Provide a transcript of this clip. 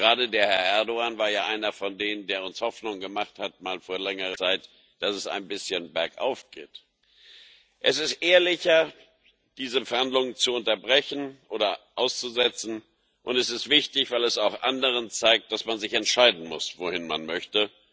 Gerade Herr Erdoğan war ja einer von denen, die uns mal vor längerer Zeit Hoffnung gemacht haben, dass es ein bisschen bergauf geht. Es ist ehrlicher, diese Verhandlungen zu unterbrechen oder auszusetzen, und es ist wichtig, weil es auch anderen zeigt, dass man sich entscheiden muss, wohin man möchte.